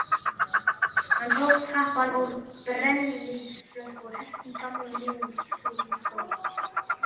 Hann tók tappann úr brennivínsflösku og hellti í gamla niðursuðudós.